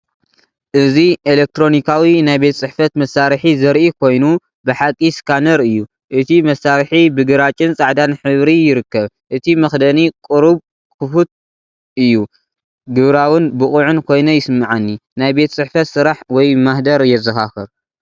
እዚ ኤሌክትሮኒካዊ ናይ ቤት ጽሕፈት መሳርሒ ዘርኢ ኮይኑ፡ ብሓቂ ስካነር እዩ። እቲ መሳርሒ ብግራጭን ጻዕዳን ሕብሪ ይርከብ። እቲ መኽደኒ ቁሩብ ክፉት እዩ። ግብራውን ብቑዕን ኮይነ ይስምዓኒ! ናይ ቤት ጽሕፈት ስራሕ ወይ ማህደር የዘኻኽር።